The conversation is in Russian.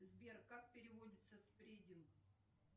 сбер как переводится спрединг